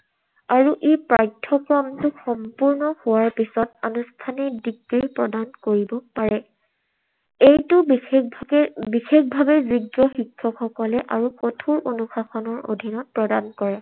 আৰু এই পাঠ্যক্ৰমটো সম্পূৰ্ণ হোৱাৰ পিছত আনুষ্ঠানিক degree প্ৰদান কৰিব পাৰে। এইটো বিশেষভাৱে~ বিশেষভাৱে যোগ্য শিক্ষকসকলে আৰু কঠুৰ অনুশাসনৰ অধীনত প্ৰদান কৰে।